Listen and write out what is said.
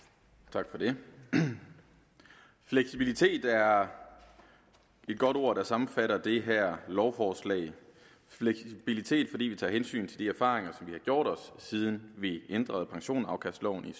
tak for det fleksibilitet er et godt ord der sammenfatter det her lovforslag fleksibilitet fordi vi tager hensyn til de erfaringer vi har gjort os siden vi ændrede pensionsafkastloven i